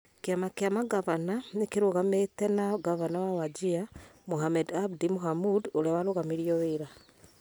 Kĩama kĩa mangavana nĩ kĩrũgamĩte na Ngavana wa Wajir, Mohamed Abdi Mohamud, ũrĩa warũgamirio wĩra.